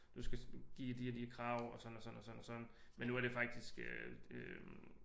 Du skal give de og de krav og sådan og sådan og sådan men nu er det faktisk øh